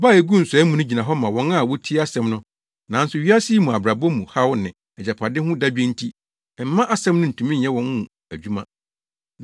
Aba a eguu nsɔe mu no gyina hɔ ma wɔn a wotie asɛm no, nanso wiase yi mu abrabɔ mu haw ne agyapade ho dadwen nti ɛmma asɛm no ntumi nyɛ wɔn mu adwuma.